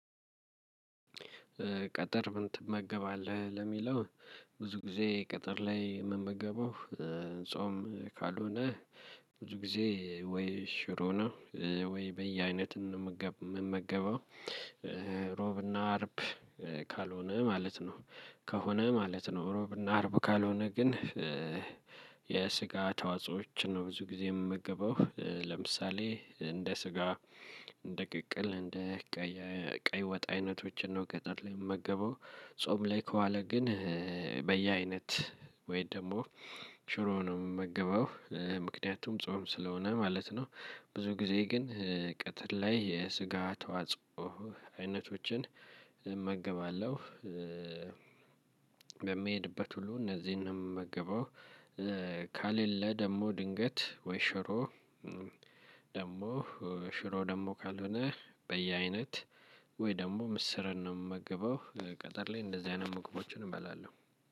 ቅጥር ምን ትመገባለህ ለሚለው? ብዙ ጊዜ ቅጥር ላይ የምመገበው። ጾም ካልሆነ። ብዙ ጊዜ ወይ ሽሮ ነው። ወይ በየአይነትን ነው የምመገበው እሮብና አርብ። ካልሆነ ማለት ነው ከሆነ ማለት ነው እሮብ እና አርብ ካልሆነ ግን። የስጋ ተዋጾዎችን ነው ብዙ ጊዜ የምመገበው ለምሳሌ እንደ ስጋ እንደ ቅቅል እንደ ቀይ ቀይ ወጥ አይነቶችን ነው ቅጥር ላይ የምመገበው። ጾም ላይ ከዋለ ግን በየአይነት ወይ ደግሞ ሽሮ ነው የምመገበው ምክንያቱም ጾም ስለሆነ ማለት ነው። ብዙ ጊዜ ግን ቅጥር ላይ የስጋ ተዋጽኦ አይነቶችን እመገባለሁ። በምሄድበት ሁሉ እነዚህን ነው የምመገበው። ካሌለ ደግሞ ድንገት ወይ ሽሮ ደግሞ ሽሮ ደግሞ ካልሆነ በየአይነት ወይ ደግሞ ምስርን ነው የምመገበው። ቅጥር ላይ እንደዚህ አይነት መቅቦችን እበላለሁ።